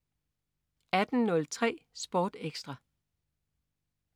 18.03 Sport Ekstra